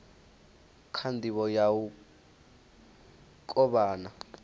kha ndivho ya u kovhana